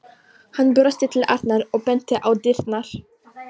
Hann brosti til Arnar og benti á dyrnar.